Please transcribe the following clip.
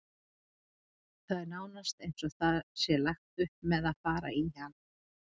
Það er nánast eins og það sé lagt upp með að fara í hann.